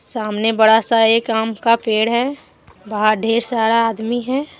सामने बड़ा सा एक आम का पेड़ है बाहर ढेर सारा आदमी है।